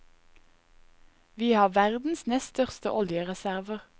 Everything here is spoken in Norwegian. Vi har verdens nest største oljereserver.